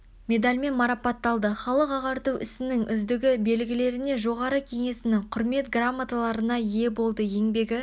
медальмен марапатталды халық ағарту ісінің үздігі белгілеріне жоғары кеңесінің құрмет грамоталарына ие болды еңбегі